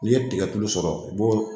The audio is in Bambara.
N'i ye tigɛ tulu sɔrɔ i b'o